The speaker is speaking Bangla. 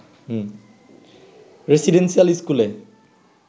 রেসিডেন্সিয়াল স্কুলে